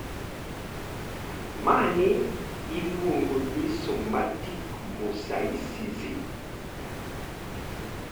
Mani iluongo ni somatic mosaicism.